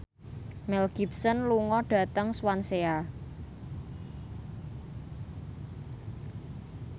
Mel Gibson lunga dhateng Swansea